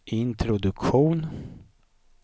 introduktion